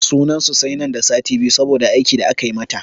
Sunan su sai nan da sati biyu saboda aiki da aka yi mata.